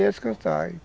Ia descansar.